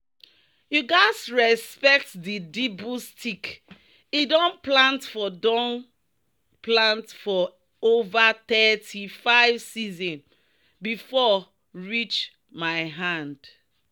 "you gats respect di dibble stick—e don plant for don plant for over thirty-five season before reach my hand."